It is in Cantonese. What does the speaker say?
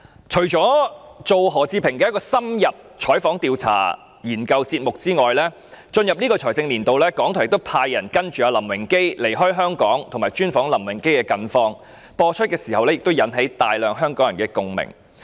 除了就何志平製作一個需要深入採訪、調查和研究的節目外，在本財政年度，港台亦派員跟隨林榮基離開香港，專訪林榮基的近況，節目播出時引起大量香港人共鳴。